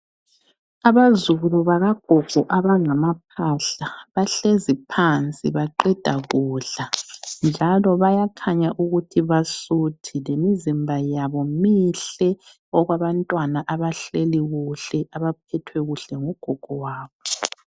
Abazukulu bakagogo abangamaphahla, bahlezi phansi baqeda kudla njalo bayakhanya ukuthi basuthi lemizima yabo mihle, okwabantwana abahleli kuhle abaphethwe kuhle ngugogo wabo.